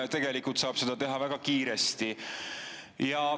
Ja tegelikult saab seda teha väga kiiresti.